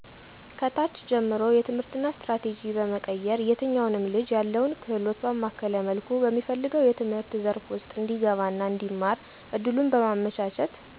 ከታች ጀምሮ የትምህርትና ስትራቴጂ በመቀየር የትኛውንም ልጅ ያለውን ክህሎት ባማከለ መልኩ በሚፈልገው የትምህርት ዘርፍ ውስጥ እንዲገባና እንዲማር እድሉን በማመቻቸት